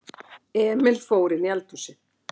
Emil fór inní eldhúsið.